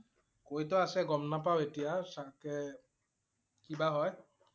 কৈ টো আছে গম নাপাওঁ এতিয়া চাগে কি বা হয়